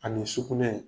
Ani sugunɛ